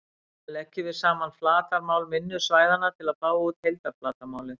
Síðan leggjum við saman flatarmál minni svæðanna til að fá út heildarflatarmálið.